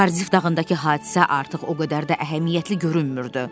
Kardif dağındakı hadisə artıq o qədər də əhəmiyyətli görünmürdü.